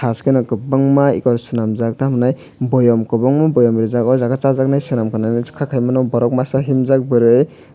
thaskeno kwbangma eko swnamjak tamhinai boyam kwbangma boyam rijak oh jaga chajaknai selamkhana kha kaimano borok masa himjak burui.